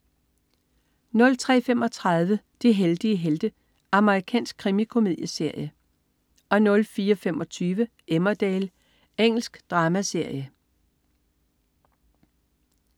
03.35 De heldige helte. Amerikansk krimikomedieserie 04.25 Emmerdale. Engelsk dramaserie